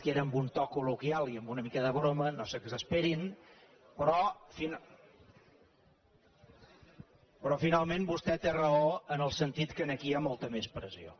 que era amb un to col·loquial i amb una mica de broma no s’exasperin però finalment vostè té raó en el sentit que aquí hi ha molta més pressió